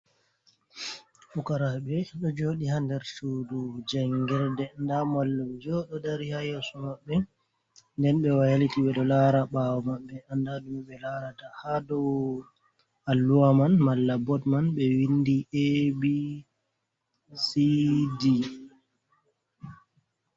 Pukaraɓe ɗo joɗi ha nder sudu jangirde, nda mallaunjo ɗo dari ha yesso maɓɓe nden ɓe wayliti ɓeɗo lara ɓawo maɓɓe anda ɗume ɓe larata, ha dow alluwa man malla bot man ɓe windi abcd.